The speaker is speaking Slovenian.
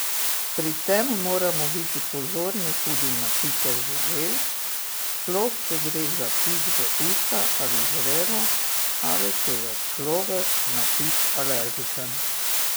Pri tem moramo biti pozorni tudi na pike žuželk, sploh če gre za pik v usta ali žrelo ali če je človek na pik alergičen.